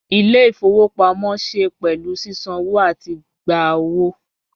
Ile-ifowopamọ ṣe pẹlu sisanwo ati gba owo